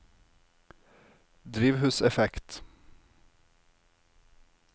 drivhuseffekt